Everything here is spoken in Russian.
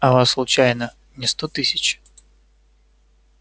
а вас случайно не сто тысяч